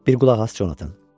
Bir qulaq as Conatan.